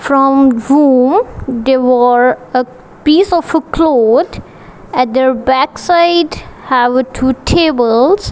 from they were a piece of a cloth at their backside have a two tables.